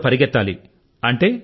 మరి పరుగెత్తవలసివస్తుంది